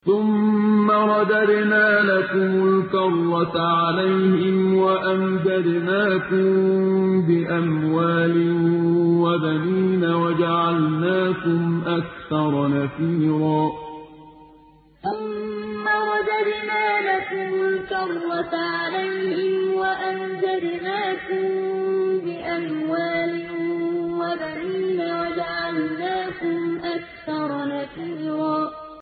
ثُمَّ رَدَدْنَا لَكُمُ الْكَرَّةَ عَلَيْهِمْ وَأَمْدَدْنَاكُم بِأَمْوَالٍ وَبَنِينَ وَجَعَلْنَاكُمْ أَكْثَرَ نَفِيرًا ثُمَّ رَدَدْنَا لَكُمُ الْكَرَّةَ عَلَيْهِمْ وَأَمْدَدْنَاكُم بِأَمْوَالٍ وَبَنِينَ وَجَعَلْنَاكُمْ أَكْثَرَ نَفِيرًا